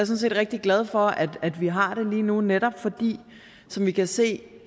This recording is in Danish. set rigtig glad for at vi har det lige nu netop fordi som vi kan se